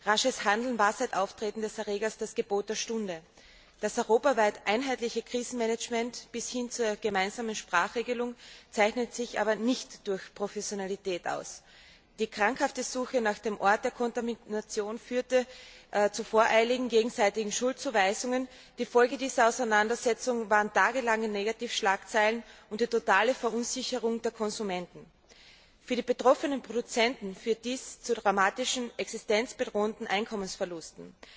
Rasches Handeln war seit Auftreten des Erregers das Gebot der Stunde. Das europaweit einheitliche Krisenmanagement bis hin zur gemeinsamen Sprachregelung zeichnet sich aber nicht durch Professionalität aus. Die krankhafte Suche nach dem Ort der Kontamination führte zu voreiligen gegenseitigen Schuldzuweisungen. Die Folge dieser Auseinandersetzungen waren tagelange Negativschlagzeilen und die totale Verunsicherung der Konsumenten. Für die betroffenen Produzenten führt dies zu dramatischen, existenzbedrohenden Einkommensverlusten.